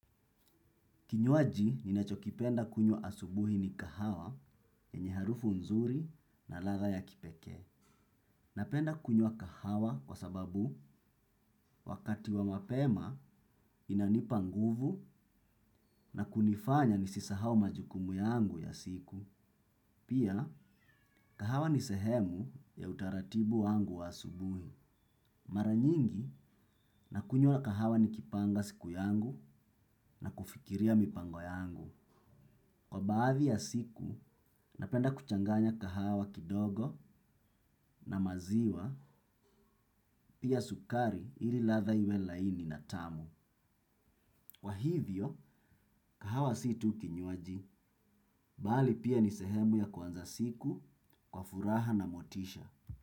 Kinywaji ninachokipenda kunywa asubuhi ni kahawa enye harufu nzuri na ladha ya kipekee. Napenda kunywa kahawa kwa sababu wakati wa mapema inanipa nguvu na kunifanya nisisahau majukumu yangu ya siku. Pia, kahawa ni sehemu ya utaratibu wangu wa asubuhi. Mara nyingi nakunyua kahawa ni kipanga siku yangu na kufikiria mipango yangu. Kwa baadhi ya siku, napenda kuchanganya kahawa kidogo na maziwa pia sukari ili ladha iwe laini na tamu. Kwa hivyo, kahawa si tu kinywaji, bali pia ni sehemu ya kuanza siku, kwa furaha na motisha.